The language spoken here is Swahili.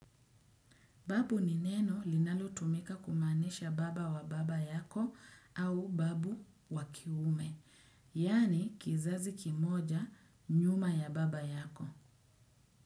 Babu ni neno linalo tumika kumaanisha baba wa baba yako au babu wakiume. Yani kizazi kimoja nyuma ya baba yako.